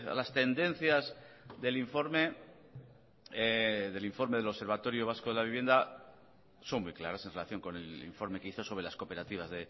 las tendencias del informe del informe del observatorio vasco de la vivienda son muy claras en relación con el informe que hizo sobre las cooperativas